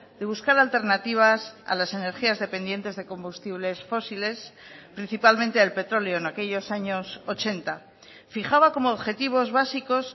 de buscar alternativas a las energías dependientes de combustibles fósiles principalmente al petróleo en aquellos años ochenta fijaba como objetivos básicos